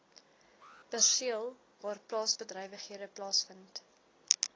perseel waarplaasbedrywighede plaasvind